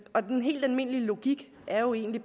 og den helt almindelige logik er jo egentlig